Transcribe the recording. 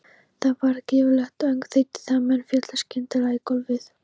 Það varð gífurlegt öngþveiti þegar menn féllu skyndilega í gólfið.